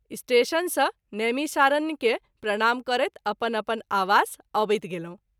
Station सँ नैमिषारण्य के प्रणाम करैत अपन अपन आवास अवैत गेलहुँ।